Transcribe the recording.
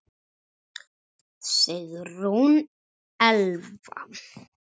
Sigrún Elfa.